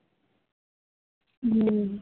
હમ